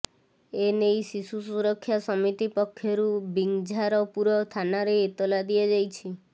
ଏନେଇ ଶିଶୁ ସୁରକ୍ଷା ସମିତି ପକ୍ଷରୁ ବିଂଝାରପୁର ଥାନାରେ ଏତଲା ଦିଆଯାଇଛି